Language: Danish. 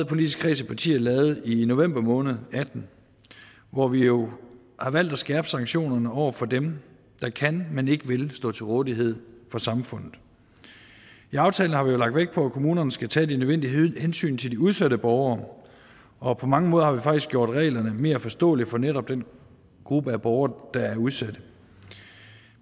politiske partier lavede i november måned to og atten hvor vi jo valgte at skærpe sanktionerne over for dem der kan men ikke vil stå til rådighed for samfundet i aftalen har vi jo lagt vægt på at kommunernes skal tage de nødvendige hensyn til de udsatte borgere og på mange måder har vi faktisk gjort reglerne mere forståelige for netop den gruppe af borgere der er udsatte